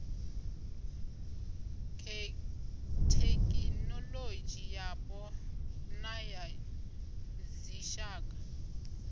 thekhinoḽodzhi yapo na ya dzitshaka